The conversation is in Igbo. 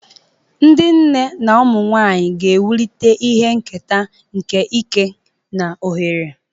Ndị nne na ụmụ nwanyị ga-ewulite ihe nketa nke ike na ohere.